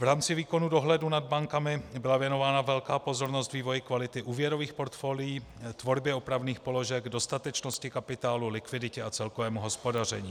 V rámci výkonu dohledu nad bankami byla věnována velká pozornost vývoji kvality úvěrových portfolií, tvorbě opravných položek, dostatečnosti kapitálu, likviditě a celkovému hospodaření.